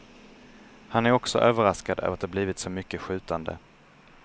Han är också överraskad över att det blivit så mycket skjutande.